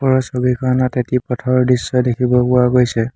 ওপৰৰ ছবিখনত এটি পথৰ দৃশ্য দেখিব পোৱা গৈছে।